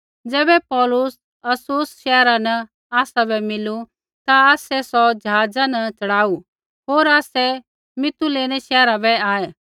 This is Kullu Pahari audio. ज़ैबै पौलुस अस्सुस शैहरा न आसाबै मिलू ता आसै सौ ज़हाज़ा न च़ढ़ाऊ होर आसै मितुलेनै शैहरा बै आऐ